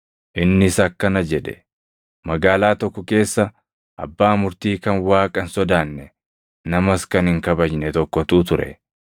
Innis akkana jedhe; “Magaalaa tokko keessa abbaa murtii kan Waaqa hin sodaanne, namas kan hin kabajne tokkotu ture.